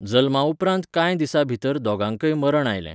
जल्मा उपरांत कांय दिसां भितर दोगांकय मरण आयलें.